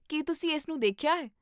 ਕੀ ਤੁਸੀਂ ਇਸਨੂੰ ਦੇਖਿਆ ਹੈ?